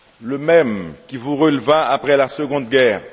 le même qui vous releva après la seconde guerre